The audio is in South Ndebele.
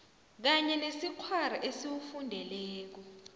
kunye nesikghwari esiwufundeleko